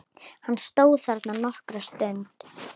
Hann stóð þarna nokkra stund.